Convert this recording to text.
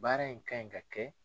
Baara in kan ɲi ka kɛ.